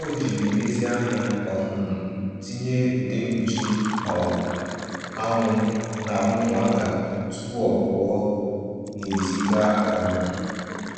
O jiri nlezianya um tinye ude mkpuchi um anwụ n'ahụ ụmụaka tupu ọ pụọ n'èzí gaa um